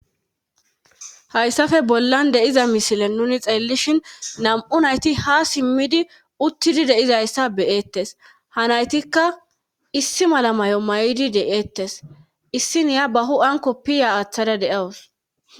Haysafe bollan de7iza misile nuuni xeellishin nam7u nayti haa simmidi uttidi de7izayssa be7eettes ha naytikka issi mala mayo mayidi de7eettes issiniya ba hu7an kopiya aathada de7awus.